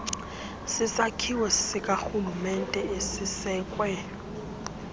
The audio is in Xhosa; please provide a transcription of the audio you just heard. sisakhiwo sikarhulumente esisekwe